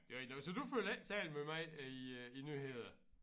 Det rigtig nok så du følger ikke særlig måj med i øh æ nyheder